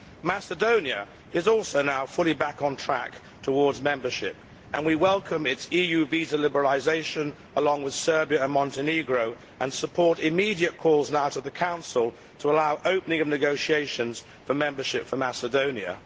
Macedonia is also now fully back on track towards membership, and we welcome its EU visa liberalisation, along with Serbia and Montenegro, and support immediate calls now to the Council to allow the opening of negotiations for membership for Macedonia.